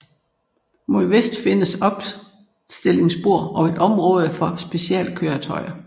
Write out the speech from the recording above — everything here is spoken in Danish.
Mod vest findes opstillingsspor og et område for specialkøretøjer